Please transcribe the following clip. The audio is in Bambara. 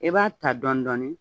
I b'a ta dɔɔnin dɔɔnin.